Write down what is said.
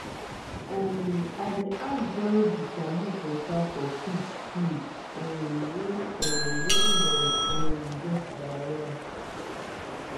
um i dey add boiled bitter leaf water for pigs feed um when um when dem um get diarrhea